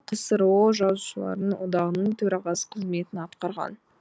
ол ксро жазушылар одағының төрағасы қызметін атқарған